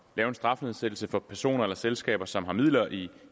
lave en strafnedsættelse for personer eller selskaber som har midler i